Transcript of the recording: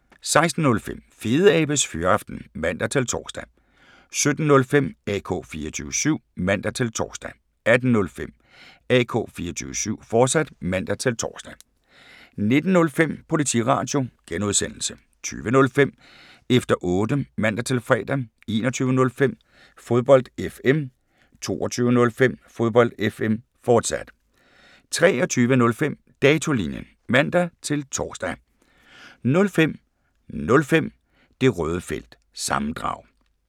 16:05: Fedeabes Fyraften (man-tor) 17:05: AK 24syv (man-tor) 18:05: AK 24syv, fortsat (man-tor) 19:05: Politiradio G) 20:05: Efter Otte (man-fre) 21:05: Fodbold FM 22:05: Fodbold FM, fortsat 23:05: Datolinjen (man-tor) 05:05: Det Røde Felt – sammendrag